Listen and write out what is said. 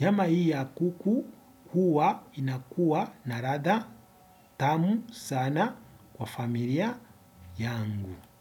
Nyama hii ya kuku huwa inakuwa na ladha tamu sana kwa familia yangu.